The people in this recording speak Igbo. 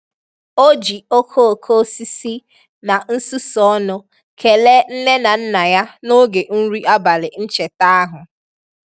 O ji okooko osisi na nsusu ọnụ kelee nne na nna ya n'oge nri abalị ncheta ahu.